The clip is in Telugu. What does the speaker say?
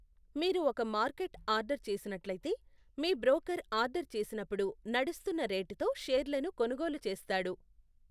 మీరు ఒక మార్కెట్ ఆర్డర్ చేసినట్లయితే, మీ బ్రోకర్ ఆర్డర్ చేసినప్పుడు నడుస్తున్న రేటుతో షేర్లను కొనుగోలు చేస్తాడు.